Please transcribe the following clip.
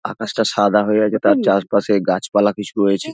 আকাশটা সাদা হয়ে আছে তার চারপাশে গাছপালা কিছু রয়েছে।